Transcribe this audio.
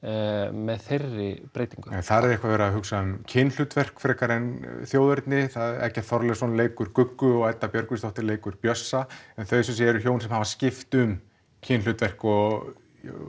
með þeirri breytingu nei þar er eitthvað verið að hugsa um kynhlutverk frekar en þjóðerni Eggert Þorleifsson leikur Guggu og Edda Björgvins leikur Bjössa en þau sem sé eru hjón sem hafa skipt um kynhlutverk og